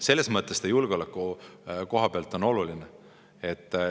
Selles mõttes ta julgeoleku koha pealt on oluline.